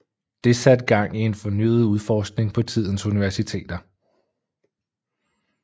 Det satte gang i en fornyet udforskning på tidens universiteter